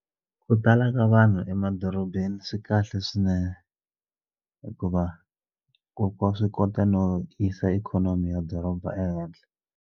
Ku tala ka vanhu emadorobeni swi kahle swinene hikuva hikuva wa swi kota no yisa ikhonomi ya doroba ehenhla.